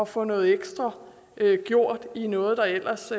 få noget ekstra gjort i noget der ellers